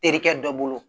Terikɛ dɔ bolo